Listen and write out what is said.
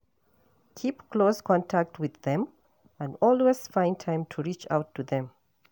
Keep close contact with them and always find time to reach out to them